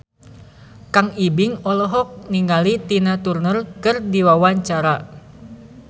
Kang Ibing olohok ningali Tina Turner keur diwawancara